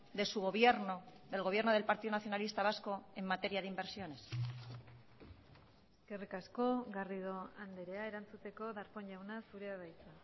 de su gobierno del gobierno del partido nacionalista vasco en materia de inversiones eskerrik asko garrido andrea erantzuteko darpón jauna zurea da hitza